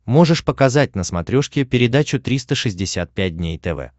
можешь показать на смотрешке передачу триста шестьдесят пять дней тв